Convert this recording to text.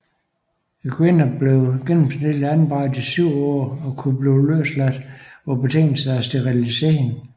Kvinderne var gennemsnitligt anbragt i syv år og kunne blive løsladt på betingelse af sterilisering